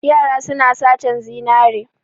Yara suna satan zinare.